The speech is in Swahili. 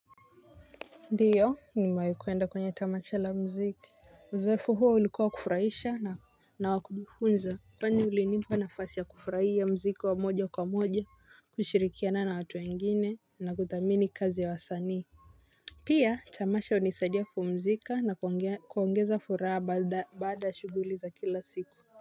Ndiyo nimewahi kwenda kwenye tamasha la mziki uzoefu huo ulikuwa wa kufurahisha na wakumfunza kwani ulinipa nafasi ya kufurahia mziki wa moja kwa moja kushirikiana na watu wengine na kuthamini kazi ya wasanii pia tamasha unisaidia kupumzika na kuongeza furaha baada shughuli za kila siku.